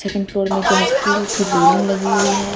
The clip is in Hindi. सेकंड फ्लोर में जो है स्टील की रेलिंग लगी हुई है।